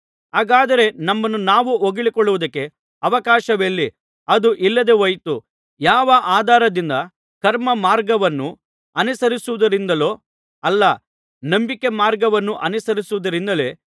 ಹಾಗಾದರೆ ನಮ್ಮನ್ನು ನಾವು ಹೊಗಳಿಕೊಳ್ಳುವುದಕ್ಕೆ ಅವಕಾಶವೆಲ್ಲಿ ಅದು ಇಲ್ಲದೆ ಹೋಯಿತು ಯಾವ ಆಧಾರದಿಂದ ಕರ್ಮಮಾರ್ಗವನ್ನು ಅನುಸರಿಸುವುದರಿಂದಲೋ ಅಲ್ಲ ನಂಬಿಕೆಮಾರ್ಗವನ್ನು ಅನುಸರಿಸುವುದರಿಂದಲೇ